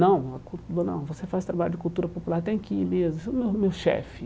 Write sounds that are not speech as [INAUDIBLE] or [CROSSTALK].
Não [UNINTELLIGIBLE] não, você faz trabalho de cultura popular, tem que ir mesmo, [UNINTELLIGIBLE] você é o meu chefe.